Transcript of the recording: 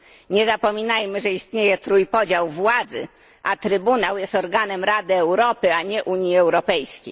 Nie zapominajmy, że istnieje trójpodział władzy, a Trybunał jest organem Rady Europy, a nie Unii Europejskiej.